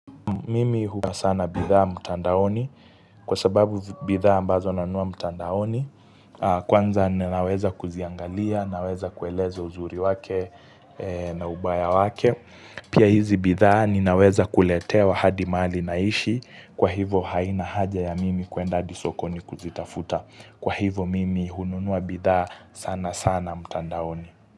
Mimi huwa sana bidhaa mutandaoni kwa sababu bidhaa ambazo nanua mutandaoni. Kwanza ninaweza kuziangalia, naweza kueleza uzuri wake na ubaya wake. Pia hizi bidhaa ninaweza kuletea wahadi mahali naishi. Kwa hivo haina haja ya mimi kuenda hadi sokoni kuzitafuta. Kwa hivo mimi hununua bidhaa sana sana mutandaoni.